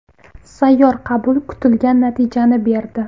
Sayyor qabul kutilgan natijani berdi.